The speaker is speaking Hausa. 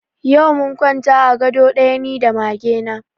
Yau mun kwanta a ga do ɗaya ni da mage na